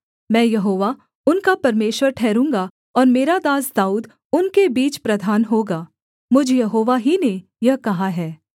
मैं यहोवा उनका परमेश्वर ठहरूँगा और मेरा दास दाऊद उनके बीच प्रधान होगा मुझ यहोवा ही ने यह कहा है